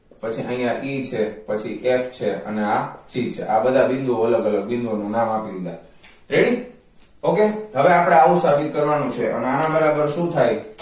પછી અહીંયા e છે પછી f છે અને આ g છે આ બધા બિંદુ ઓ અલગ અલગ બિંદુ ઓ નાં નામ આપી દીધા ready ok હવે આપણે આવુ સાબિત કરવા નું છે અને આના બરાબર શુ થાય